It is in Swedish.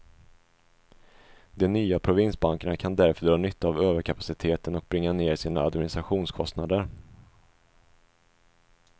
De nya provinsbankerna kan därför dra nytta av överkapaciteten och bringa ner sina administrationskostnader.